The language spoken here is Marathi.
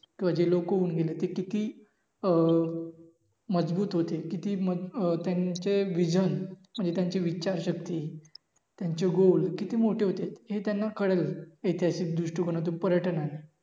ते जे लोक होऊन गेले ते किती अं मजबूत होते. किती अं त्यांचे विझन म्हणजे त्याचे विच्चा शक्ती त्यांचे गोल किती मोठे होते हे त्याना कळेल ऐतिहासिक दृष्टिकोनातून पर्यटकाना.